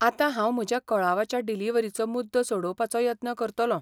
आतां हांव म्हज्या कळावाच्या डिलिव्हरीचो मुद्दो सोडोवपाचो यत्न करतलों.